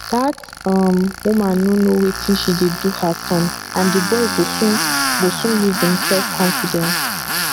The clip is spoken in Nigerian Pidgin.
dat um woman no know wetin she dey do her son and the boy go soon go soon lose im self confidence